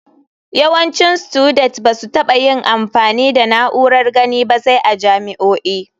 Yawancin studet ba su taɓa yin amfani da na'urar gani ba sai a jami'o'i.